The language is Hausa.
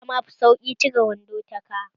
Yama fi sauƙi cire wando ta ka.